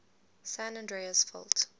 san andreas fault